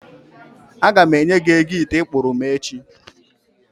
A gam enye gi ego ite ị kpụụrụ m echi